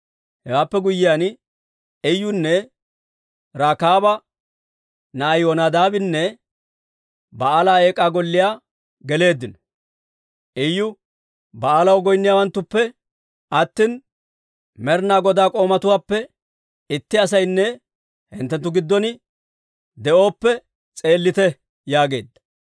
Hewaappe guyyiyaan, Iyunne Rekaaba na'ay Yonadaabinne Ba'aala Eek'aa Golliyaa geleeddino. Iyu Ba'aalaw goynniyaawantta, «Ba'aalaw goynniyaawanttuppe attina, Med'ina Godaa k'oomatuwaappe itti asaynne hinttenttu giddon de'ooppe s'eellite» yaageedda.